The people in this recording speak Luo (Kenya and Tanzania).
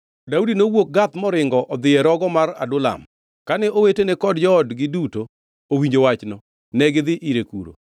Daudi nowuok Gath moringo odhi e rogo mar Adulam. Kane owetene kod joodgi duto owinjo wachno, negidhi ire kuno.